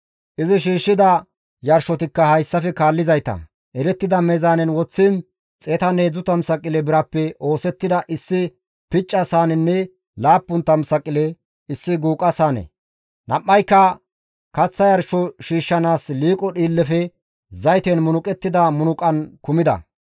Izi shiishshida yarshotikka hayssafe kaallizayta, erettida meezaanen woththiin 130 saqile birappe oosettida issi picca saanenne 70 saqile issi guuqa saane, nam7ayka kaththa yarsho shiishshanaas liiqo dhiillefe zayten munuqettida munuqan kumida.